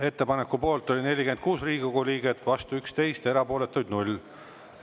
Ettepaneku poolt oli 46 Riigikogu liiget, vastu 11, erapooletuid 0.